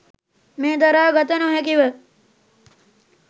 මෙය දරා ගත නොහැකිව